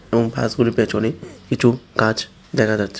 এবং বাসগুলির পেছনে কিছু গাছ দেখা যাচ্ছে।